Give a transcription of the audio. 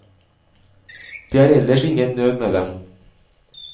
Det er ellers ingen nød med dem.